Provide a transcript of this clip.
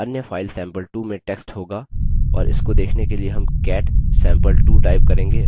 अन्य file sample2 में text होगा और इसको देखने के लिए हम cat sample2 type करेंगे